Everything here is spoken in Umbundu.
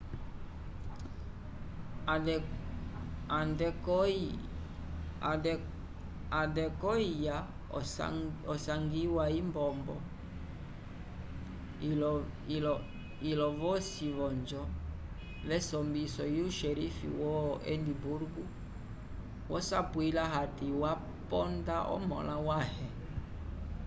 adekoiya osangiwa itombo ilo yosi v'onjo yesombiso yu xerife wo edimburgo wosapwiliwa hati waponda omõla wãhe